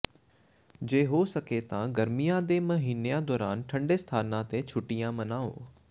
ਜੇ ਹੋ ਸਕੇ ਤਾਂ ਗਰਮੀਆਂ ਦੇ ਮਹੀਨਿਆਂ ਦੌਰਾਨ ਠੰਢੇ ਸਥਾਨਾਂ ਤੇ ਛੁੱਟੀਆਂ ਮਨਾਓ